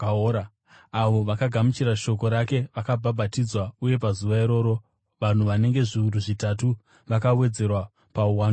Avo vakagamuchira shoko rake vakabhabhatidzwa, uye pazuva iro, vanhu vanenge zviuru zvitatu vakawedzerwa pauwandu hwavo.